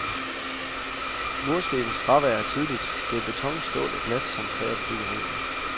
Murstenenes fravær er tydeligt, det er beton, stål og glas som præger byggerierne.